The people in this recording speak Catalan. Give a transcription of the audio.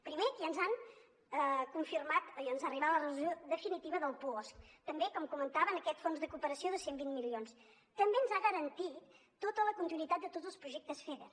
primer que ens han confirmat i ens ha arribat la resolució definitiva del puosc també com comentava aquest fons de cooperació de cent i vint milions també ens ha garantit tota la continuïtat de tots els projectes feder